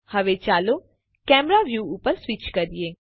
હવે ચાલો camera view ઉપર સ્વીચ કરીએ